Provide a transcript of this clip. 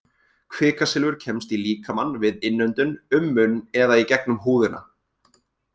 Kvikasilfur kemst í líkamann við innöndun, um munn eða í gegnum húðina.